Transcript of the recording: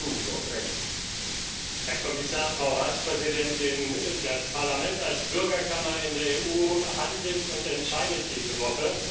Herr Präsident, Herr Kommissar, Frau Ratspräsidentin! Das Parlament als Bürgerkammer in der EU handelt und entscheidet diese Woche.